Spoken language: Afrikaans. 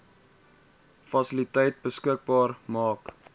fasiliteite beskikbaar maak